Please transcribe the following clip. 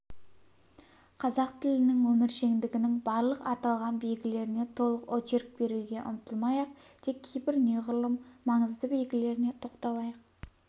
қазақ тілінің өміршеңдігінің барлық аталған белгілеріне толық очерк беруге ұмтылмай-ақ тек кейбір неғұрлым маңызді белгілеріне тоқталайық